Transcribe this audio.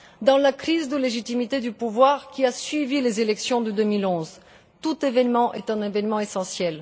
Dans la crise de légitimité du pouvoir qui a suivi les élections de 2011, tout événement est essentiel.